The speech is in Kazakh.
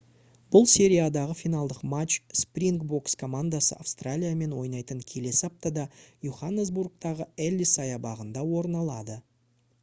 бұл сериядағы финалдық матч спрингбокс командасы австралиямен ойнайтын келесі аптада йоханнесбургтағы эллис саябағында орын алады